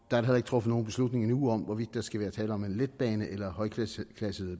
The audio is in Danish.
da heller ikke truffet nogen beslutning endnu om hvorvidt der skal være tale om en letbane eller højklassede